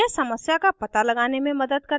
यह समस्या का it लगाने में मदद करता है